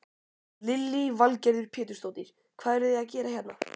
Lillý Valgerður Pétursdóttir: Hvað eruð þið að gera hérna?